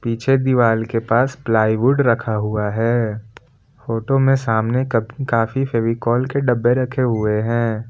पीछे दीवाल के पास प्लाईवुड रखा हुआ है फोटो में सामने क काफी फेविकोल के डब्बे रखे हुए हैं।